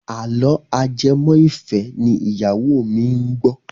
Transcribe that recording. Àlọ́ ajẹmọ́-ìfẹ́ ni ìyáwó mi ń gbọ́.